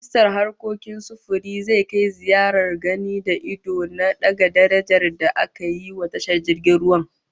Ministan harkokin sufiri zai kai ziyarar gani da ido na daga darajar da ake yiwa tashar jirgin ruwan